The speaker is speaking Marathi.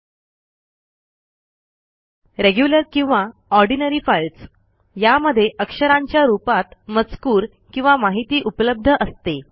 १रेग्युलर किंवा ऑर्डिनरी फाईल्स यामध्ये अक्षरांच्या रूपात मजकूर किंवा माहिती उपलब्ध असते